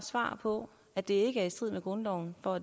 svar på at det er i strid med grundloven og